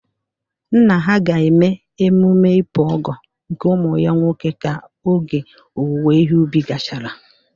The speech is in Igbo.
Nna ha ga eme emume Ipu Ogo nke umu ya nwoke ka oge owuwe ihe ubi gachara